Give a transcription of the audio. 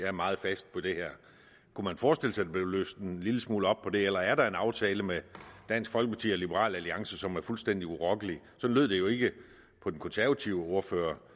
er meget fast på det her kunne man forestille sig blev løsnet en lille smule op på det eller er der en aftale med dansk folkeparti og liberal alliance som er fuldstændig urokkelig sådan lød det jo ikke på den konservative ordfører